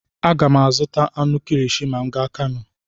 Aga m azụta anụ kilishi ma m gaa Kanu.